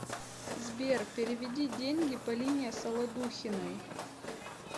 сбер переведи деньги полине солодухиной